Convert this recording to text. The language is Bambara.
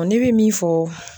Ne bɛ min fɔ.